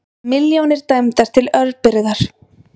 Milljónir dæmdar til örbirgðar